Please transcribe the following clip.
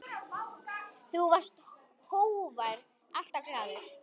Þú varst hógvær, alltaf glaður.